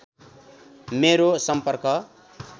मेरो सम्पर्क